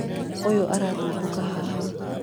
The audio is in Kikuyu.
ũyũ arathumbũka haha